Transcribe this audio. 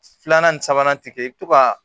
Filanan ni sabanan ti kɛ i bɛ to ka